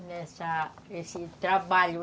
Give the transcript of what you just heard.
Nessa nesse trabalho.